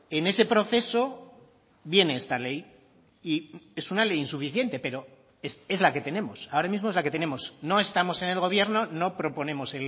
en ese proceso viene esta ley y es una ley insuficiente pero es la que tenemos ahora mismo es la que tenemos no estamos en el gobierno no proponemos